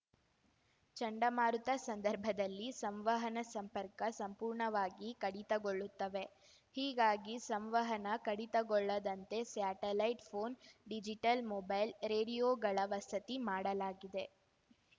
ಚಂಡಮಾರುತ ಸಂದರ್ಭದಲ್ಲಿ ಸಂವಹನ ಸಂಪರ್ಕ ಸಂಪೂರ್ಣವಾಗಿ ಕಡಿತಗೊಳ್ಳುತ್ತವೆ ಹೀಗಾಗಿ ಸಂವಹನ ಕಡಿತಗೊಳ್ಳದಂತೆ ಸ್ಯಾಟಲೈಟ್‌ ಫೋನ್‌ ಡಿಜಿಟಲ್‌ ಮೊಬೈಲ್‌ ರೆಡಿಯೋಗಳ ವಸತಿ ಮಾಡಲಾಗಿದೆ